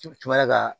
ka